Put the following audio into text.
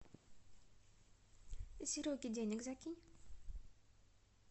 сереге денег закинь